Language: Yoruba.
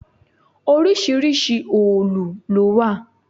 Oríṣiríṣi òòlù ló wà.